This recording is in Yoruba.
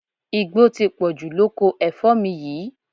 Igbó ti pọ̀jù lóko ẹ̀fọ́ mi yìí